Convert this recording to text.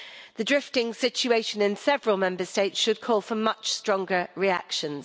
The drifting situation in several Member States should call for much stronger reactions.